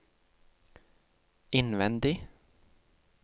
innvendig